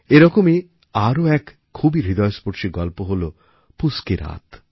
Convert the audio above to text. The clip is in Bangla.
এরকমই এক খুবই হৃদয়স্পর্শী গল্প হল পুস কি রাত